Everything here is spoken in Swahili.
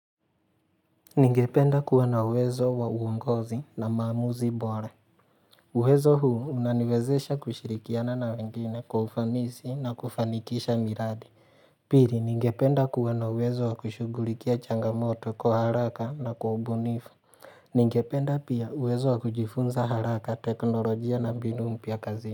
Ningependa kuwana uwezo wa uongozi na maamuzi bora uwezo huu unaniwezesha kushirikiana na wengine kwa ufanisi na kufanikisha miradi Pili ningependa kuwana uwezo wa kushugulikia changamoto kwa haraka na kwa ubunifu Ningependa pia uwezo wa kujifunza haraka teknolojia na mbinu mpya kazi.